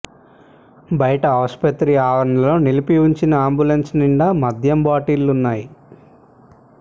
బయట ఆసుపత్రి ఆవరణలో నిలిపి ఉంచిన అంబులెన్స్ నిండా మద్యం బాటిళ్లు ఉన్నాయి